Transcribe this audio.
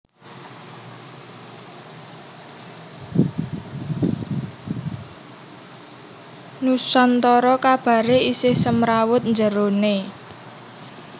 Nusantara kabare isih semrawut njerone